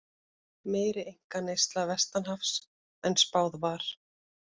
Meiri einkaneysla vestanhafs en spáð var